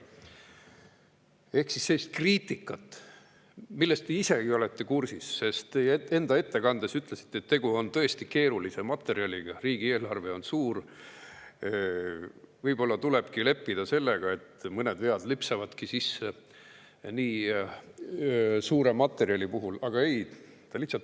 kriitikat, millega te isegi kursis olete, sest te ütlesite oma ettekandes, et tegu on tõesti keerulise materjaliga, riigieelarve on suur ja võib-olla tulebki sellega leppida, et nii suure materjali puhul lipsavad mõned vead sisse.